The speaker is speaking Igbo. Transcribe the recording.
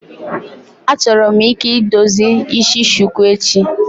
Achọrọ m ike edozi isi shuku echi.